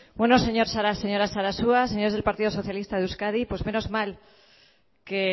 señora sarasua señores del partido socialista de euskadi pues menos mal que